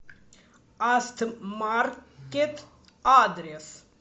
астмаркет адрес